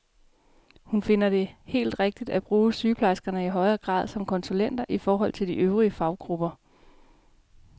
Hun finder det helt rigtigt at bruge sygeplejerskerne i højere grad som konsulenter i forhold til de øvrige faggrupper.